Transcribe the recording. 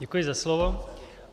Děkuji za slovo.